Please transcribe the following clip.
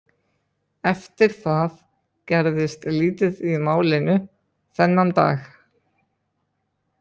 Eftir það gerðist lítið í málinu þennan dag.